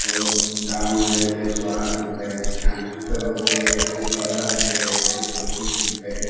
और दाम है एक सौ आठ रूपये छिहत्तर रूपये एक सौ चौदह रूपये एक सौ चौंतीस रूपये।